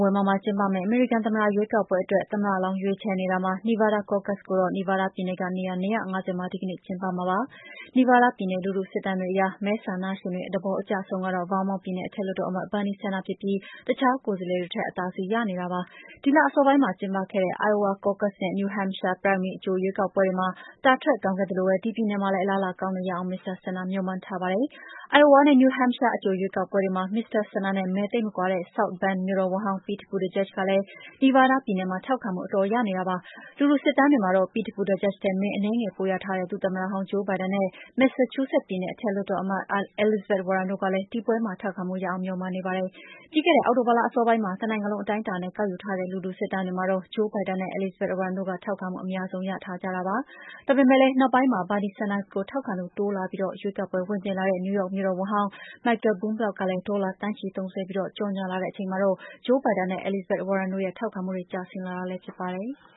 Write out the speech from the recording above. ဝင်ဘာမှာကျင်းပမယ့် အမေရိကန် သမ္မတရွေးကောက်ပွဲအတွက် သမ္မတလောင်း ရွေးချယ်နေတာမှာ Nevada Caucus ကိုတော့ နီဗားဒါးပြည်နယ်က နေရာ ၂၅၀ မှာ ဒီကနေ့ ကျင်းပမှာပါ။ နီဗားဒါးပြည်နယ် လူထုစစ်တမ်းတွေအရ မဲဆန္ဒရှင်တွေ သဘောအကျဆုံးကတော့ ဗားမောင့်ပြည်နယ် အထက်လွှတ်တော်အမတ် Bernie Sanders ဖြစ်ပြီး အခြားကိုယ်စားလှယ်တွေထက် အသာစီးရနေတာကို တွေ့ရပါတယ်။ ဒီလအစောပိုင်းမှာ ကျင်းပခဲ့တဲ့ Iowa caucuses နဲ့ New Hampshire primary အကြိုရွေးကောက်ပွဲတွေမှာ တာထွက်ကောင်းခဲ့သလိုပဲ ဒီပြည်နယ်မှာလည်း အလားအလာကောင်းအောင် မစ္စတာ Sanders မျှော်မှန်းထားတာပါ။ အိုင်အိုဝါနဲ့ New Hampshire အကြိုရွေးကောက်ပွဲတွေမှာ မစ္စတာ Sanders နဲ့ မဲသိပ်မကွာတဲ့ South Bend မြို့တော်ဝန်ဟောင်း Pete Buttigieg ကလည်း နီဗားဒါးပြည်နယ်မှာ ထောက်ခံမှု အတော်ရနေတာပါ။ လူထုစစ်တမ်းတွေမှာ Pete Buttigieg ထက် မဲအနည်းငယ် ပိုရထားခဲ့တဲ့ ဒုသမ္မတဟောင်း Joe Biden နဲ့ မက်ဆာချူးဆက်ပြည်နယ် အထက်လွှတ်တော်အမတ် Elizabeth Warren တို့ကလည်း ဒီပွဲမှာ ထောက်ခံမှုရအောင် မျှော်မှန်းနေပါတယ်။ ပြီးခဲ့တဲ့ အောက်တိုဘာလ အစောပိုင်းမှာ တနိုင်ငံလုံး အတိုင်းအတာနဲ့ ကောက်ယူထားတဲ့ လူထုစစ်တမ်းတွေမှာတော့ Joe Biden နဲ့ Elizabeth Warren တို့က ထောက်ခံမှုအများဆုံး ရထားကြတာပါ။ ဒါပေမယ့်လည်း နောက်ပိုင်းမှာ Bernie Sanders ကို ထောက်ခံသူ တိုးလာပြီး ရွေးကောက်ပွဲ ဝင်ပြိုင်လာတဲ့ နယူးယောက်မြို့တော်ဝန်ဟောင်း Michael Bloomberg ကလည်း ဒေါ်လာသန်းချီသုံစွဲပြီး ကြော်ငြာလာတဲ့ အချိန်မှာတော့ Joe Biden နဲ့ Elizabeth Warren တို့ရဲ့ ထောက်ခံမှုတွေ ကျဆင်းလာတာလည်း ဖြစ်ပါတယ်။